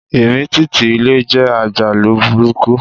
Ìmìtìtì ilẹ̀ jẹ́ àjálù burúkú